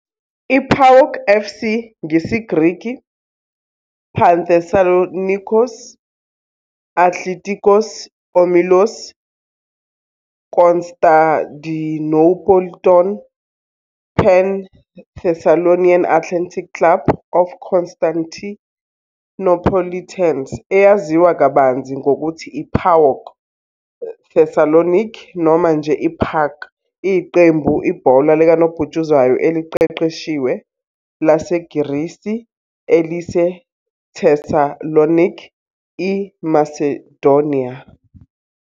I-PAOK FC, ngesiGreki, Panthessaloníkios Athlitikós Ómilos Konstadinoupolitón, "Pan-Thessalonian Athletic Club of Constantinopolitans", eyaziwa kabanzi ngokuthi i-PAOK Thessaloniki noma nje i-PAAK, iyiqembu ibhola likanobhutshuzwayo eliqeqeshiwe laseGrisi eliseThessaloniki, IMacedonia.